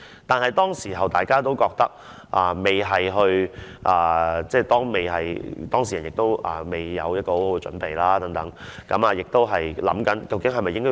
但是，當時大家都不覺得有甚麼，而當事人也沒有準備好和考慮好究竟是否需要公開事件。